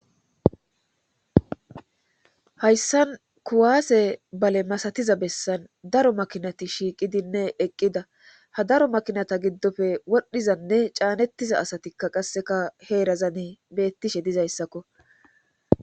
hayssan kuwaase bale masatiza bessan daro makinati shiiqidinne eqqida ha daro makinata giddofe wodhdhizanne caanettiza asatikka qasseka heerazani beettishe dizayssakko